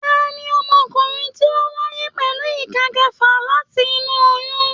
Tani ọmọkùnrin tí o wáyé pẹlú ìká kẹfà láti inú oyún?